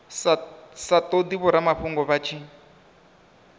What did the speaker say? sa todi vhoramafhungo vha tshi